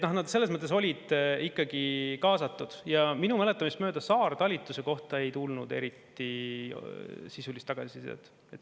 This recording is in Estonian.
Nad selles mõttes olid ikkagi kaasatud ja minu mäletamist mööda saartalitluse kohta ei tulnud eriti sisulist tagasisidet.